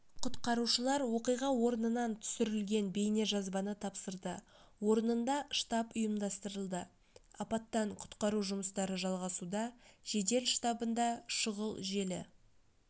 құтқарушылар оқиға орнынан түсірілген бейнежазбаны тапсырды орнында штаб ұйымдастырылды апаттан-құтқару жұмыстары жалғасуда жедел штабында шұғыл желі